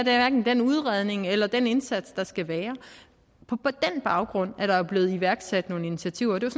er den udredning eller den indsats der skal være på den baggrund er der jo blevet iværksat nogle initiativer og det